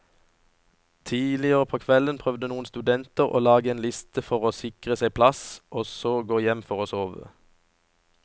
Tidligere på kvelden prøvde noen studenter å lage en liste for å sikre seg plass og så gå hjem for å sove.